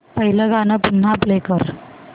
पहिलं गाणं पुन्हा प्ले कर